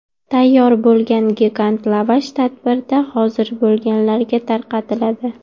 Tayyor bo‘lgan gigant lavash tadbirda hozir bo‘lganlarga tarqatiladi.